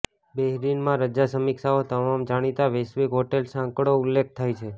Bahrain માં રજા સમીક્ષાઓ તમામ જાણીતા વૈશ્વિક હોટેલ સાંકળો ઉલ્લેખ થાય છે